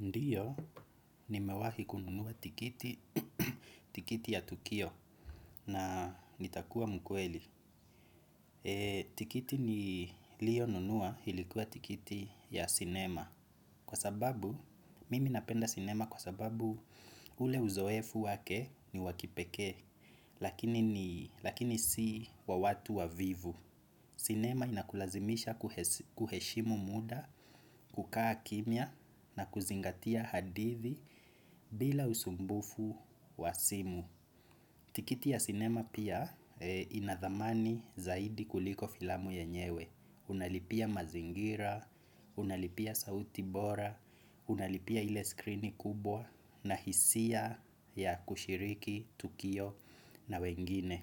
Ndio, nimewahi kununua tikiti ya tukio na nitakuwa mkweli. Tikiti niliyonunua ilikuwa tikiti ya sinema. Kwa sababu, mimi napenda sinema kwa sababu ule uzoefu wake ni wakipekee lakini si wa watu wavivu. Sinema inakulazimisha kuheshimu muda, kukaa kimya, na kuzingatia hadithi bila usumbufu wa simu. Tikiti ya sinema pia inadhamani zaidi kuliko filamu yenyewe. Unalipia mazingira, unalipia sauti bora, unalipia ile screen kubwa, na hisia ya kushiriki tukio na wengine.